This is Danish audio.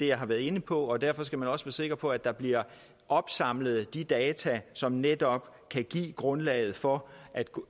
jeg har været inde på og derfor skal man også være sikker på at der bliver opsamlet de data som netop kan give grundlaget for